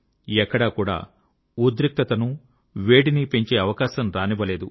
ఎక్కడకూడా ఉద్రిక్తతను వేడిని పెంచే అవకాశం రానివ్వలేదు